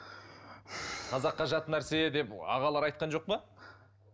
қазаққа жат нәрсе деп ағалар айтқан жоқ па